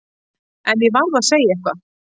En ég varð að segja eitthvað.